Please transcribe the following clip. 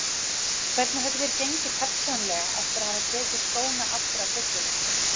Hvernig hefur þér gengið persónulega eftir að hafa tekið skóna aftur af hillunni?